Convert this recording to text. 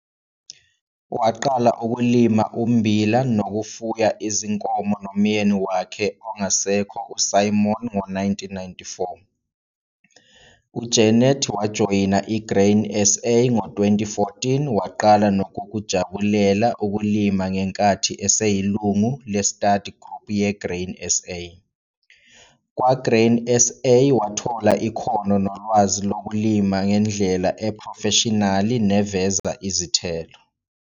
Waqala ukulima ummbila nokufuya izinkomo nomyeni wakhe ongasekho uSimon ngo-1994. UJeneth wajoyina iGrain SA ngo-2014 waqala nokukujabulela ukulima ngenkathi eseyilungu le-study group yeGrain SA. Kwa-Grain SA wathola ikhono nolwazi lokulima ngendle ephrofeshinali neveza izithelo.